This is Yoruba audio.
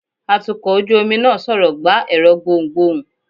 atukọ̀ ojú omi náà sọrọ gbá ẹrọ gbohún-gbohún